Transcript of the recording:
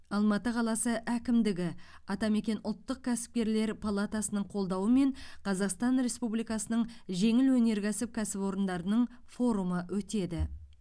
алматы қаласы әкімдігі атамекен ұлттық кәсіпкерлер палатасының қолдауымен қазақстан республикасының жеңіл өнеркәсіп кәсіпорындарының форумы өтеді